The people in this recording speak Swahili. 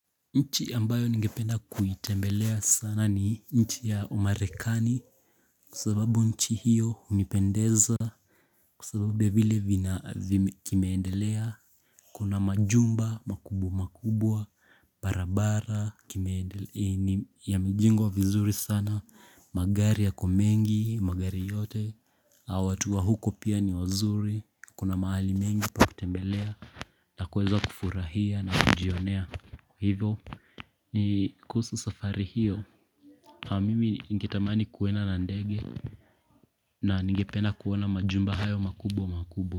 Nchi ambayo ngependa kuitembelea sana ni nchi ya umarekani Kwa sababu nchi hiyo unipendeza Kwasababu ya vile vina kimeendelea. Kuna majumba makubwa makubwa barabara kimeendelea yamejengwa vizuri sana. Magari yako mengi magari yote na watu wa huko pia ni wazuri Kuna maali mengi pa kutembelea na kuweza kufurahia na kujionea hivyo. Ni kuhusu safari hiyo. Mimi ingetamani kuwena na ndege. Na ningependa kuona majumba hayo makubwa makubwa.